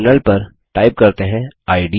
terminal पर type करते हैं